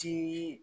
Tii